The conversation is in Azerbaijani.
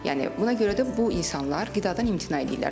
Yəni buna görə də bu insanlar qidadan imtina edirlər.